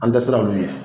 An tɛ se k'olu ye